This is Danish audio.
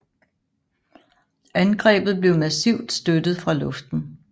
Angrebet blev massivt støttet fra luften